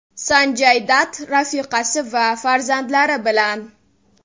Sanjay Datt rafiqasi va farzandlari bilan.